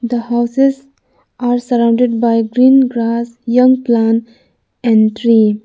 the houses are surrounded by green grass young plant and tree.